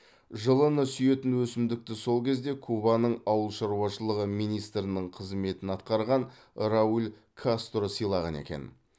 жылыны сүйетін өсімдікті сол кезде кубаның ауыл шаруашылығы министрінің қызметін атқарған рауль кастро сыйлаған екен